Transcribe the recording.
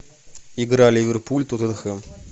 игра ливерпуль тоттенхэм